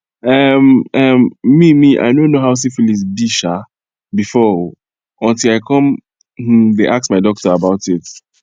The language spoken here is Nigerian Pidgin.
um um me me i no know how syphilis be um before o until i come um the ask my doctor about it